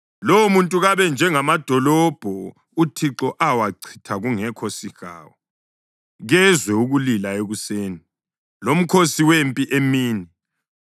Lowomuntu kabe njengamadolobho uThixo awachitha kungekho sihawu. Kezwe ukulila ekuseni, lomkhosi wempi emini.